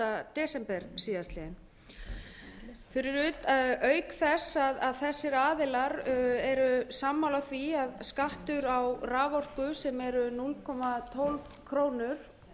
það var undirritað þann sjöunda desember síðastliðnum þessir aðilar eru sammála því að skattur á raforku sem er núll komma tólf krónu